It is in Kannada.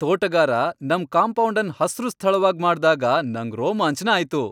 ತೋಟಗಾರ ನಮ್ ಕಾಂಪೌಂಡ್ ಅನ್ ಹಸ್ರು ಸ್ಥಳವಾಗ್ ಮಾಡ್ದಾಗ ನಂಗ್ ರೋಮಾಂಚನ ಆಯ್ತು.